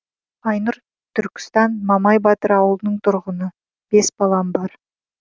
айнұр түркістан мамай батыр ауылының тұрғыны бес балам бар